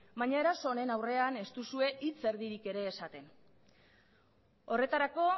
baina eraso honen aurrean ez duzue hitz erdirik ere esaten horretarako